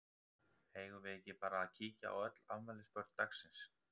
Eigum við ekki bara að kíkja á öll afmælisbörn dagsins?